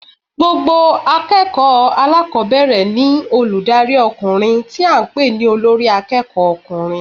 Àwọn akéèkòó alákòbéèrè ní olùdarí okùnrin tí a n pè ní Olórí akéèkó ọkùnrin